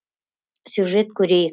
сюжет көрейік